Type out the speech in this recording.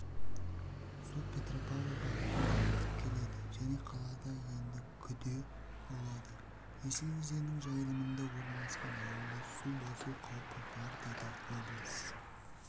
су петропавл бағытында ағып келеді және қалада енді күде болады есіл өзенінің жайылымында орналасқан ауылды су басу қаупі бар деді облыс